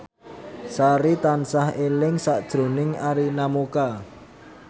Sari tansah eling sakjroning Arina Mocca